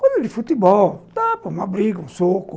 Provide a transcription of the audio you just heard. Coisas de futebol, um tapa, uma briga, um soco.